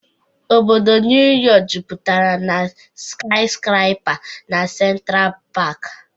Obodo Neu Yok jupụtara na skiskrapa na Sentra Pak.